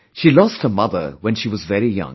She lost her mother when she was very young